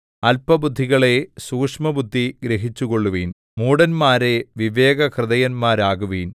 അല്പബുദ്ധികളേ സൂക്ഷ്മബുദ്ധി ഗ്രഹിച്ചുകൊള്ളുവിൻ മൂഢന്മാരേ വിവേകഹൃദയന്മാരാകുവിൻ